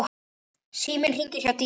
Síminn hringir hjá Dýra.